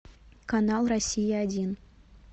канал россия один